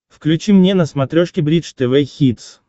включи мне на смотрешке бридж тв хитс